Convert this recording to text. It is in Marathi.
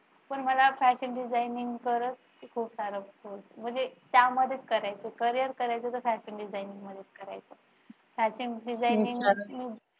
पण मला fashion designing करत म्हणजे त्यामध्येच करायचे carrier करायच तर fashion designing मध्ये